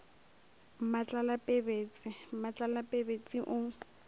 mmatlala pebetse mmatlala pebetse o